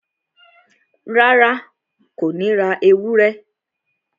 Rárá, Kò ní ra ewúrẹ́